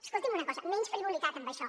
escolti’m una cosa menys frivolitat en això